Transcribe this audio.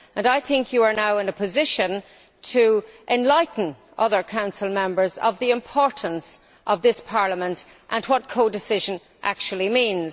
I think you are now in a position to enlighten other Council Members on the importance of this Parliament and what codecision actually means.